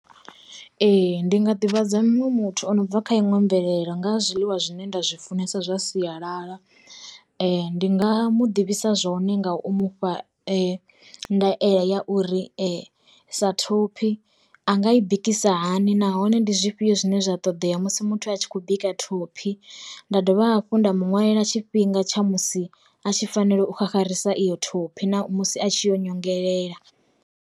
Ee ndi nga ḓivhadza muṅwe muthu o no bva kha iṅwe mvelelo nga zwiḽiwa zwine nda zwi funesa zwa sialala, ndi nga mu ḓivhisa zwone nga u mufha ndaela ya uri sa thophi a nga i bikisa hani nahone ndi zwifhio zwine zwa ṱoḓea musi muthu a tshi khou bika thophi, nda dovha hafhu nda muṅwaleli tshifhinga tsha musi a tshi fanela u xaxarisa iyo thophi na musi a tshi yo nyongelela.